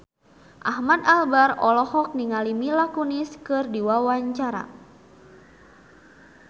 Ahmad Albar olohok ningali Mila Kunis keur diwawancara